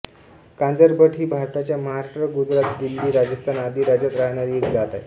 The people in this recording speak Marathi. कांजरभट ही भारताच्या महाराष्ट्र गुजरातदिल्ली राजस्थान आदी राज्यात राहणारी एक जात आहे